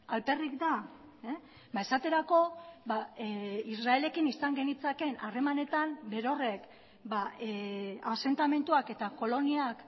alperrik da esaterako israelekin izan genitzakeen harremanetan berorrek asentamenduak eta koloniak